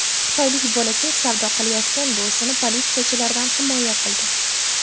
Xitoylik bolakay savdo qilayotgan buvisini politsiyachilardan himoya qildi .